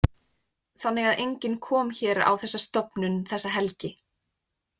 Þannig að enginn kom hér á þessa stofnun þessa helgi?